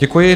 Děkuji.